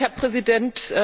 Herr Präsident!